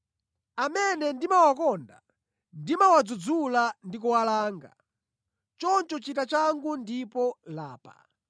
Amene ndimawakonda ndimawadzudzula ndi kuwalanga. Choncho chita changu ndipo lapa.